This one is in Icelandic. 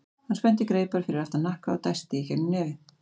Hann spennti greipar fyrir aftan hnakka og dæsti í gegnum nefið.